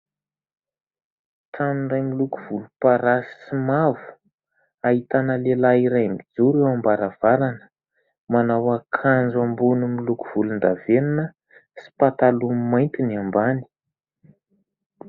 Trano iray miloko volomparasy sy mavo; ahitana lehilahy iray mijoro eo am-baravarana, manao akanjo ambony miloko volon-davenona, sy pataloha mainty ny ambany.